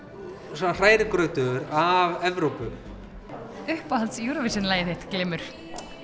svona hrærigrautur af Evrópu uppáhalds Eurovision lagið þitt glymur